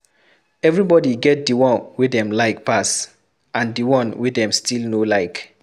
Everybody get the one wey dem like pass and the one wey them still no like